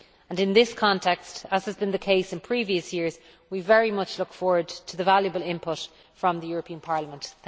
In this context, as has been in the case in previous years, we very much look forward to the valuable input from the European Parliament.